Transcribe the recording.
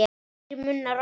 Þrír munnar opnast.